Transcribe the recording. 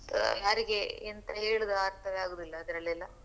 ಯಾರಿಗೆ ಎಂತ ಹೇಳುದು ಅರ್ಥವೇ ಆಗುದಿಲ್ಲ ಅದ್ರಲ್ಲೆಲ್ಲ.